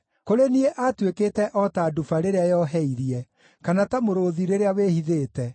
Kũrĩ niĩ aatuĩkĩte o ta nduba rĩrĩa yoheirie, kana ta mũrũũthi rĩrĩa wĩhithĩte,